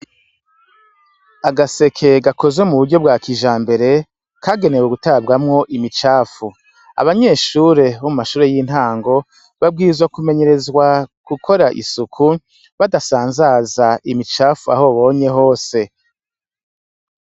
Agaseke gakozwe mu buryo bwa kijambere, kagenewe gutabwamwo imicafu. Abanyeshure bo mu mashure y' intango, babwirizwa kumenyerezwa gukora isuku, badasanzaza imicafu aho nabonye hose.